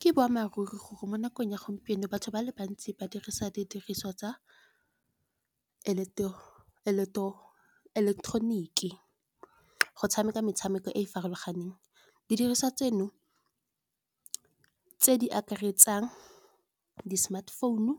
Ke boammaaruri gore mo nakong ya gompieno batho ba le bantsi ba dirisa didiriswa tsa ileketeroniki. Go tshameka metshameko e e farologaneng, didiriswa tseno tse di akaretsang di-smart phone-u,